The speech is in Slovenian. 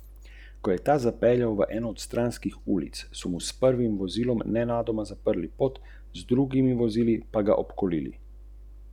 Sam si prizadevam, da v podjetju oblikujemo vodje in ne sledilce.